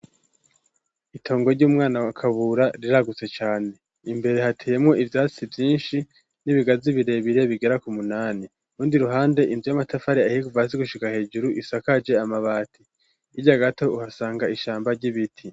Itongo ry'umwana wakabura riragutse cane imbere hatiyemo ivyatsi vyinshi n'ibigazi ibirebire bigera ku munani undi ruhande inzu y'amatafari ahiguva azi gushiga hejuru isakaje amabati irya gato uhasanga ishamba ry'ibiti.